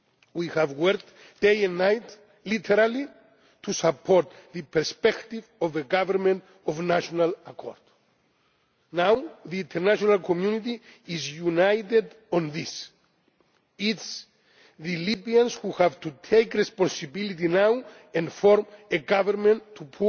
far. We have worked day and night literally to support the perspective of a government of national accord. Now the international community is united on this it is the Libyans who have to take responsibility now and form a government